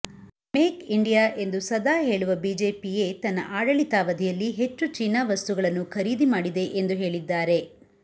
make India ಎಂದು ಸದಾ ಹೇಳುವ ಬಿಜೆಪಿಯೇ ತನ್ನ ಆಡಳಿತಾವಧಿಯಲ್ಲಿ ಹೆಚ್ಚು ಚೀನಾ ವಸ್ತುಗಳನ್ನು ಖರೀದಿ ಮಾಡಿದೆ ಎಂದು ಹೇಳಿದ್ದಾರೆ